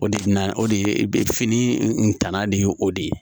O de bɛ na o de ye fini danna de y'o de ye